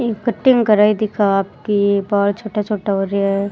एक कटिंग कराई दिख आप की बाल छोटा छोटा हो रा है।